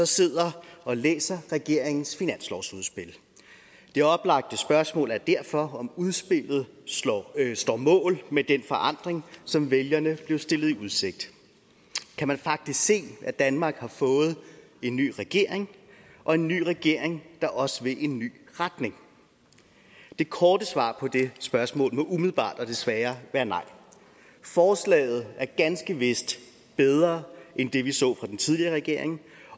sidder og læser regeringens finanslovsudspil det oplagte spørgsmål er derfor om udspillet står står mål med den forandring som vælgerne blev stillet i udsigt kan man faktisk se at danmark har fået en ny regering og en ny regering der også vil en ny retning det korte svar på det spørgsmål må umiddelbart og desværre være et nej forslaget er ganske vist bedre end det vi så fra den tidligere regering